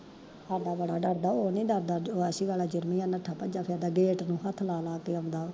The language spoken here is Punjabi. ਸਾਡਾ ਬੜਾ ਡਰਦਾ ਵਾ ਓਨੀ ਡਰਦਾ ਆਸੀ ਆਲਾ ਜਿਰਮੀ ਆ ਨੱਸਾ ਭੱਜਾ ਫਿਰਦਾ ਗੇਟ ਨੂੰ ਹੱਥ ਲਾ ਲਾ ਕੇ ਆਉਂਦਾ